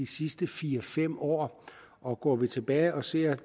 sidste fire fem år og går vi tilbage og ser